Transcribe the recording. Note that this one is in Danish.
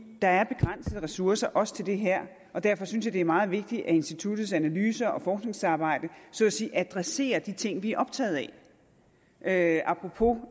der er begrænsede ressourcer også til det her og derfor synes jeg at det er meget vigtigt at instituttets analyser og forskningsarbejde så at sige adresserer de ting vi er optaget af apropos